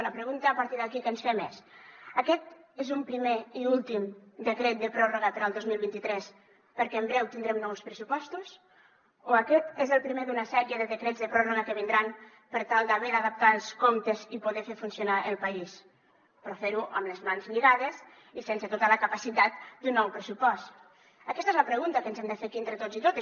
la pregunta a partir d’aquí que ens fem és aquest és un primer i últim decret de pròrroga per al dos mil vint tres perquè en breu tindrem nous pressupostos o aquest és el primer d’una sèrie de decrets de pròrroga que vindran per tal d’haver d’adaptar els comptes i poder fer funcionar el país però ferho amb les mans lligades i sense tota la capacitat d’un nou pressupost aquesta és la pregunta que ens hem de fer aquí entre tots i totes